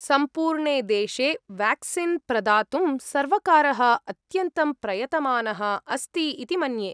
सम्पूर्णे देशे वेक्सीन् प्रदातुं सर्वकारः अत्यन्तं प्रयतमानः अस्ति इति मन्ये।